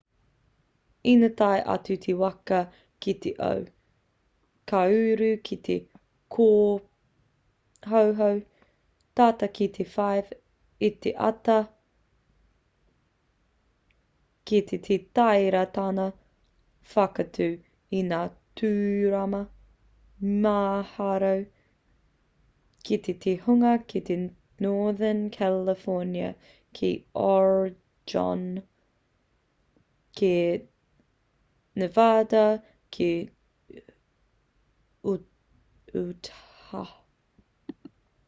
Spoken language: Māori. ina tae atu te waka ki te ao ka uru ki te kōhauhau tata ki te 5 i te ata rā rāwhiti kei te tāria tāna whakaatu i ngā tūrama mīharo ki te hunga ki northern california ki oregon ki nevada ki utah